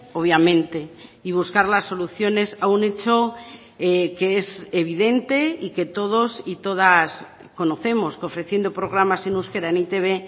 obviamente y buscar las soluciones a un hecho que es evidente y que todos y todas conocemos que ofreciendo programas en euskera en e i te be